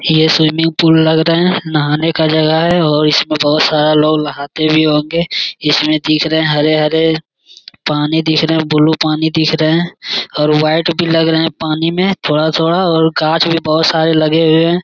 यह swimming pool लग रहे नहाने का जगह है और इसमें बहुत सारा लोग नहाते भी होंगे इसमें दिख रहे हैं हरे-हरे पानी दिख रहे ब्लू पानी दिख रहे है और वाइट भी लग रहे हैं पानी में थोड़ा-थोड़ा और कांच भी बहुत सारे लगे हुए हैं।